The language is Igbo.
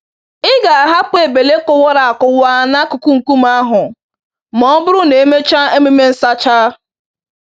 Ị ga-ahapụ ebele kụwara akụwa n'akụkụ nkume ahụ m'ọbụrụ na emechaa emume nsacha.